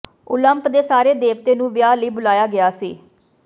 ਓਲੰਪ ਦੇ ਸਾਰੇ ਦੇਵਤੇ ਨੂੰ ਵਿਆਹ ਲਈ ਬੁਲਾਇਆ ਗਿਆ ਸੀ